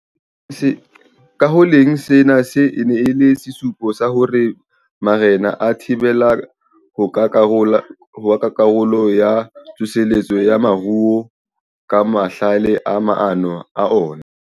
Ka ho le leng, sena e ne e le sesupo sa hore marena a thabela ho ba karolo ya tsoseletso ya moruo ka mahlale le maano a ona.